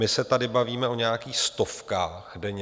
My se tady bavíme o nějakých stovkách denně.